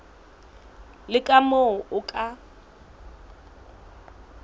le ka moo o ka